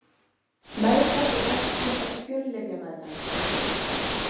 Meðferð við berklum er fjöllyfjameðferð.